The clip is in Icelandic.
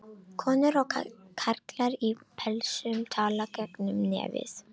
Konur og karlar í pelsum tala gegnum nefið.